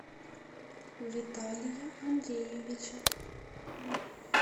виталия андреевича